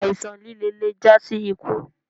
Àìsán lìlẹ̀ lè jà sí ìkú.